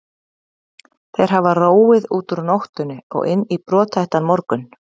Þeir hafa róið út úr nóttinni og inn í brothættan morgun.